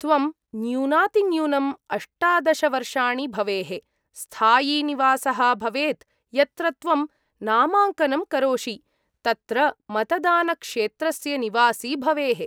त्वं न्यूनातिन्यूनं अष्टादश वर्षाणि भवेः, स्थायीनिवासः भवेत्, यत्र त्वं नामाङ्कनं करोषि तत्र मतदानक्षेत्रस्य निवासी भवेः।